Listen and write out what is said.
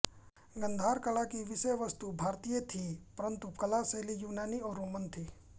गांधार कला की विषयवस्तु भारतीय थी परन्तु कला शैली यूनानी और रोमन थी